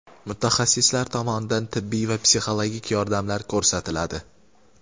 Mutaxassislar tomonidan tibbiy va psixologik yordamlar ko‘rsatiladi.